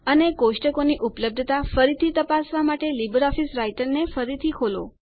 અને કોષ્ટકોની ઉપલબ્ધતા ફરીથી તપાસવાં માટે લીબરઓફીસ રાઈટરને ફરીથી ખોલો